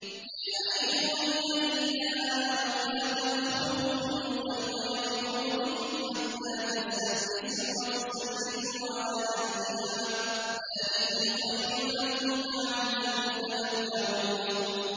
يَا أَيُّهَا الَّذِينَ آمَنُوا لَا تَدْخُلُوا بُيُوتًا غَيْرَ بُيُوتِكُمْ حَتَّىٰ تَسْتَأْنِسُوا وَتُسَلِّمُوا عَلَىٰ أَهْلِهَا ۚ ذَٰلِكُمْ خَيْرٌ لَّكُمْ لَعَلَّكُمْ تَذَكَّرُونَ